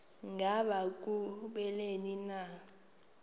ngaba kubleni na